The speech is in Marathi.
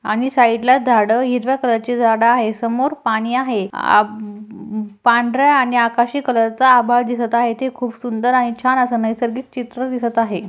आणि साइडला झाड हिरव्या कलर ची झाड आहे समोर पाणी आहे आब पांढर्‍या आणि आकाशी कलर चा आभाळ दिसत आहे ते खूप सुंदर आहे छान अस नैसर्गिक चित्र दिसत आहे.